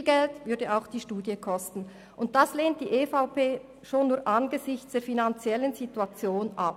Viel Geld würde auch die Studie kosten, und dies lehnt die EVP schon nur angesichts der finanziellen Situation ab.